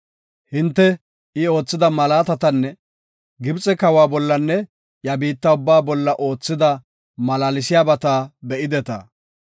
Hinte I oothida malaatatanne Gibxe kawa bollanne iya biitta ubbaa bolla oothida malaalsiyabata be7ideta.